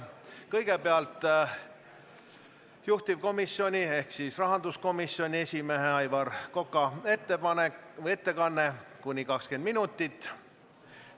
Kõigepealt on juhtivkomisjoni ehk rahanduskomisjoni esimehe Aivar Koka ettekanne, mis kestab kuni 20 minutit.